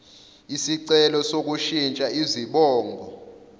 isicelo sokushintsha izibongo